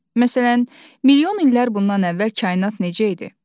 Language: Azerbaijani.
Məsələn, milyon illər bundan əvvəl kainat necə idi?